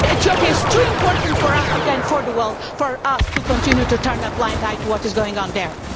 Ethiopia is too important for Africa and for the world for us to continue to turn a blind eye to what is going on there.